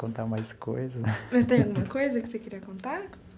Contar mais coisa. Mas tem alguma coisa que você queria contar?